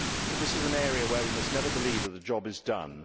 This is an area where we must never believe that the job is done.